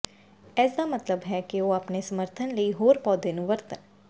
ਇਸ ਦਾ ਮਤਲਬ ਹੈ ਕਿ ਉਹ ਆਪਣੇ ਸਮਰਥਨ ਲਈ ਹੋਰ ਪੌਦੇ ਨੂੰ ਵਰਤਣ